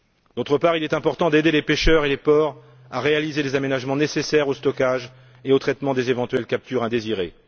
D'autre part, il est important d'aider les pêcheurs et les ports à réaliser les aménagements nécessaires au stockage et au traitement des éventuelles captures indésirées.